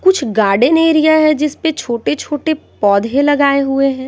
कुछ garden area है जिस पे छोटे- छोटे पौधे लगाए हुए हैं।